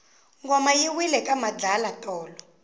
ngoma yi wile ka madlala tolo